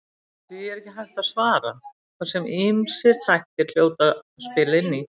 Því er ekki hægt að svara þar sem ýmsir þættir hljóta að spila inn í.